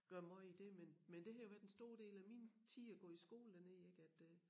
Gøre måj i det men men det har været en stor del af min tid at gå i skole dernede ik at øh